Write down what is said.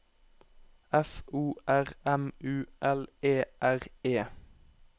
F O R M U L E R E